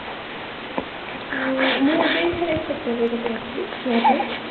ମୁଁ ଏବେ sector ରେ ଗୋଟେ ଅଛି job ରେ